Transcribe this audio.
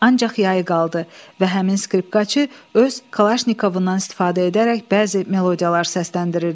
Ancaq yayı qaldı və həmin skripkaçı öz kalaşnikovundan istifadə edərək bəzi melodiyalar səsləndirirdi.